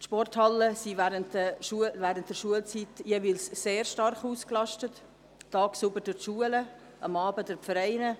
Die Sporthallen sind während der Schulzeit jeweils sehr stark ausgelastet, tagsüber durch die Schulen, am Abend durch die Vereine.